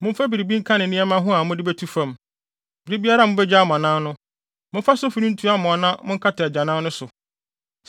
Mofa biribi nka ne nneɛma ho a mode betu fam. Bere biara a mubegya mo anan no, momfa sofi no ntu amoa na monkata agyanan no so.